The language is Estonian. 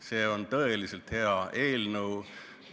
See on tõeliselt hea eelnõu.